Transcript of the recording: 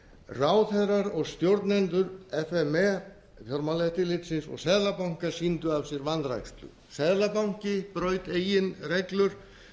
ráðherrar og stjórnendur f m e fjármálaeftirlitsins og seðlabankans sýndu af sér vanrækslu seðlabanki braut eigin reglur